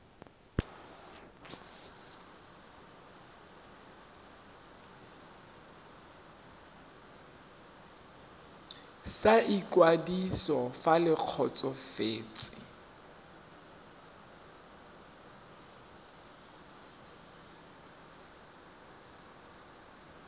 sa ikwadiso fa le kgotsofetse